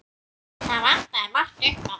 Það vantaði margt upp á.